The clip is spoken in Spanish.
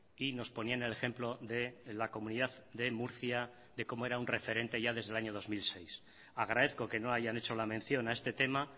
y nos ponían el ejemplo de la comunidad de murcia de cómo era un referente ya desde el año dos mil seis agradezco que no hayan hecho la mención a este tema